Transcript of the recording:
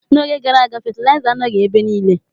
N'oge gara aga, fetilaiza anọghị ebe niile.